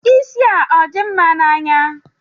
Isi a ọ dị mma n'anya?